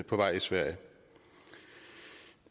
på vej i sverige